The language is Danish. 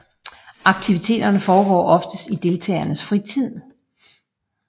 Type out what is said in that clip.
Aktiviteterne foregår oftest i deltagernes fritid